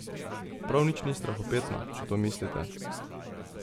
Prav nič ni strahopetna, če to mislite.